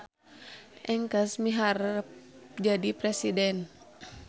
Engkes miharep jadi presiden